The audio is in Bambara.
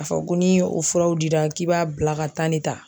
K'a fɔ ko ni o furaw dira k'i b'a bila ka de ta